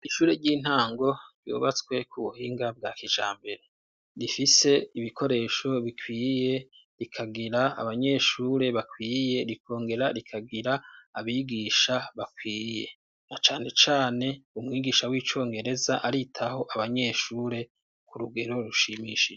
Ishure ry'intango ryubatswe ku buhinga bwa kijambere, rifise ibikoresho bikwiye rikagira abanyeshure bakwiye rikongera rikagira abigisha bakwiye na cane cane umwigisha w'icongereza aritaho abanyeshure ku rugero rushimishije.